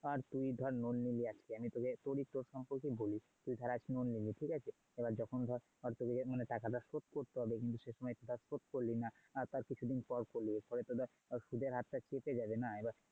আর তুই ধর loan নিলি আজকে আমি তোকে তোর ই প্রশ্নের উত্তরে বলি, তুই ধর আজকে loan নিলি ঠিক আছে? এবার যখন ধর তোকে টাকাটা শোধ করতে হবে কিন্তু সেই সময় সেটা শোধ করলি না আর তার কিছুদিন পর করলি ফলে তো দেখ সুধের হারটা তো চেপে যাবে না।